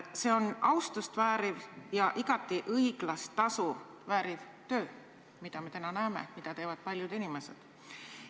See on austust vääriv ja igati õiglast tasu vääriv töö, mida teevad paljud inimesed.